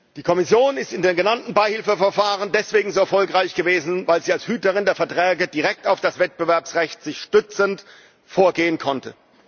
Die Kommission ist in dem genannten Beihilfeverfahren deswegen so erfolgreich gewesen, weil sie als Hüterin der Verträge direkt auf das Wettbewerbsrecht gestützt vorgehen konnte.